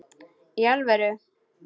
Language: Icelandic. Í alvöru?